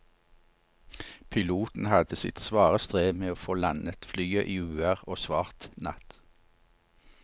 Piloten hadde sitt svare strev med å få landet flyet i uvær og svart natt.